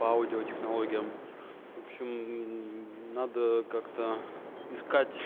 по аудиотехнология в общем надо как-то искать